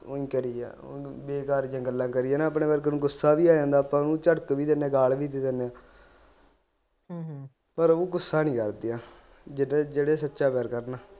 ਦਿਲਦਾਰੀਆਂ ਦੀਆਂ ਗੱਲਾਂ ਕਰੀਏ ਨਾ ਆਪਣੇ ਵਰਗੇ ਨੂੰ ਗੁੱਸਾ ਵੀ ਆ ਜਾਂਦਾ ਆਪਾ ਓਹਨੂੰ ਚੜਕ ਵੀ ਦੀਨੇ ਗਾਲ ਵੀ ਦੇ ਦਿਨੇ ਨੇ ਪਰ ਉਹ ਗੁੱਸਾ ਨੀ ਕਰਦੀਆਂ ਜਿਹੜੇ ਸੱਚਾ ਪਿਆਰ ਕਰਨ